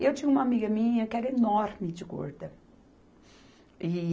E eu tinha uma amiga minha que era enorme de gorda. E